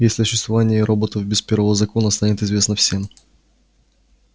если о существовании роботов без первого закона станет известно всем